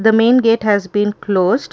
the main gate has been closed.